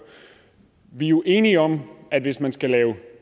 vi er jo enige om at hvis man skal lave